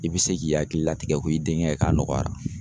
I be se k'i hakili latigɛ ko i denkɛ k'a nɔgɔyara.